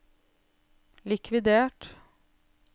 likvidert